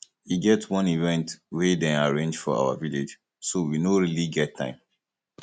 e get wan event we dey arrange for our village so we no really get time